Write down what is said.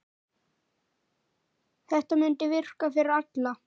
Þetta mundi virka fyrir alla.